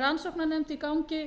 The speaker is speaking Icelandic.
í gangi